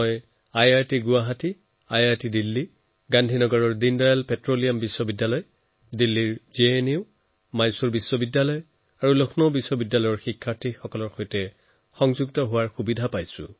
IIT Guwahati IIT Delhi গান্ধীনগৰৰ Deendayal petroleum university দিল্লীৰ JNU Mysore বিশ্ববিদ্যালয় আৰু লক্ষ্ণৌ বিশ্ববিদ্যালয়ৰ ছাত্ৰছাত্ৰীসকলৰ সৈতে প্ৰযুক্তিৰ সহায়ত মই যোগাযোগ কৰিব পাৰিছো